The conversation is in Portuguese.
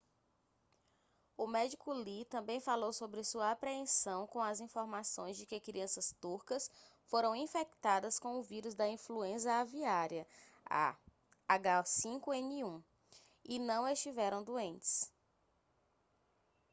o médico lee também falou sobre sua apreensão com as informações de que crianças turcas foram infectadas com o vírus da influenza aviária a h5n1 e não estiveram doentes